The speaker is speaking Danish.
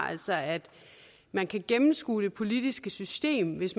altså at man kan gennemskue det politiske system hvis